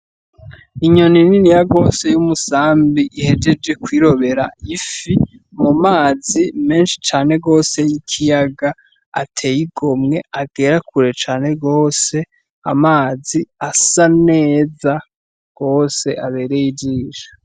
Inyoni niniya gose y'umusambi ihejeje kw'irobera ifi mumazi menshi cane gose y'ikiyaga ateye igomwe agera kure cane gose, amazi asa neza gose abereye ijisho